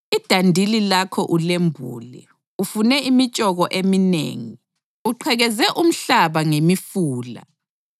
Idandili lakho ulembule, ufune imitshoko eminengi. Uqhekeze umhlaba ngemifula;